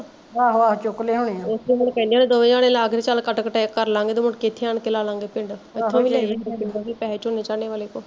ਏਸੇ ਗੱਲੋਂ ਕਹਿੰਦੇ ਹੁਣੇ ਦੋਵੇ ਜਣੇ ਆਪਸ ਚ ਕੱਟ ਕਟਾਈ ਕਰਲਾਂਗੇ ਤੇ ਮੁੜ ਕੇ ਏਥੇ ਆ ਕੇ ਲਾਲਾਂਗੇ ਪਿੰਡ